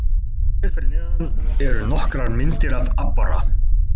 Hér fyrir neðan eru nokkrar myndir af aborra.